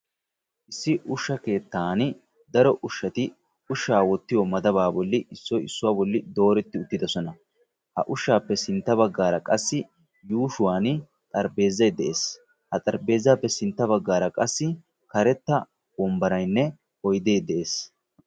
issi usha keettaani daro ushati ushaa wotiyo madabaa bolli issoy issuwaa bolli dooreti utidosona. ya bagaara qassi yuushuwani xarpheezay dees.